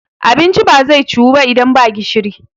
abinci ba zai ciwu ba idan ba gishiri